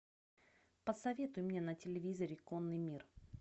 посоветуй мне на телевизоре конный мир